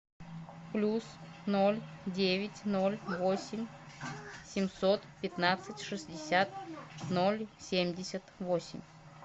плюс ноль девять ноль восемь семьсот пятнадцать шестьдесят ноль семьдесят восемь